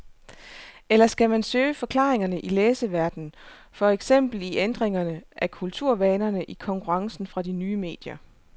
Eller skal man søge forklaringerne i læserverdenen, for eksempel i ændringerne af kulturvanerne, i konkurrencen fra de nye medier?